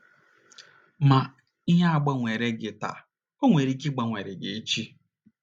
Ma, ihe agbanwereghị gị taa, o nwere ike ịgbanwere gị echi.